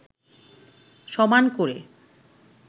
সমান করে